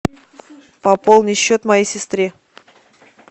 пополни счет моей сестре